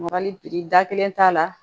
Marali da kelen t'a la